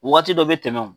Waati dɔ bɛ tɛmɛ